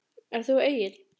Ert þú Egill?